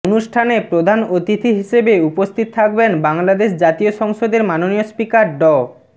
অনুষ্ঠানে প্রধান অতিথি হিসেবে উপস্থিত থাকবেন বাংলাদেশ জাতীয় সংসদের মাননীয় স্পিকার ড